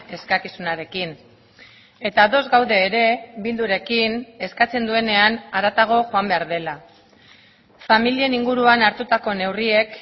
eskakizunarekin eta ados gaude ere bildurekin eskatzen duenean haratago joan behar dela familien inguruan hartutako neurriek